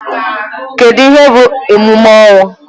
Kedụ ihe bụ emume ọnwụ?